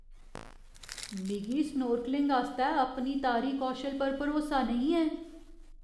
मिगी स्नोर्कलिंग आस्तै अपने तारी कौशल पर भरोसा नेईं ऐ।